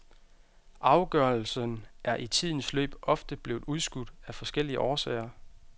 Afgørelsen er i tidens løb ofte blevet udskudt af forskellige årsager.